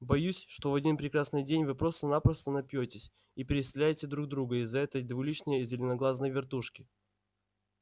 боюсь что в один прекрасный день вы просто-напросто напьётесь и перестреляете друг друга из-за этой двуличной зеленоглазной вертушки